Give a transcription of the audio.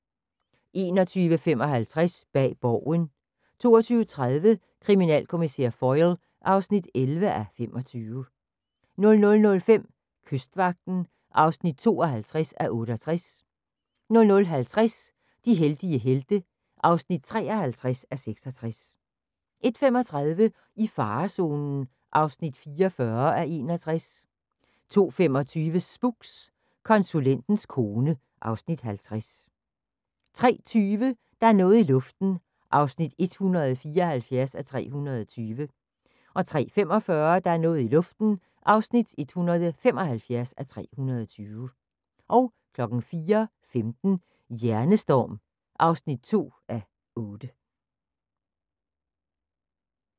21:55: Bag Borgen 22:30: Kriminalkommissær Foyle (11:25) 00:05: Kystvagten (52:68) 00:50: De heldige helte (53:66) 01:35: I farezonen (44:61) 02:25: Spooks: Konsulens kone (Afs. 50) 03:20: Der er noget i luften (174:320) 03:45: Der er noget i luften (175:320) 04:15: Hjernestorm (2:8)